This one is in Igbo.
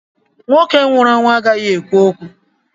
Nwoke nwụrụ anwụ agaghị ekwu okwu.